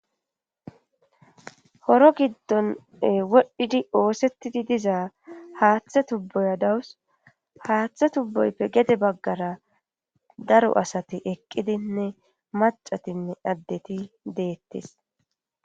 Horo giddon wodhdhidi oosettidi diza haaththe tubboya dawus haaththe tubboyppe gede baggara daro asate eqqidinne macatinne addeti deettes